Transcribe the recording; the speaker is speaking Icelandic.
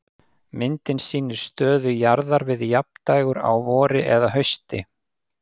Myndin sýnir stöðu jarðar við jafndægur á vori eða hausti.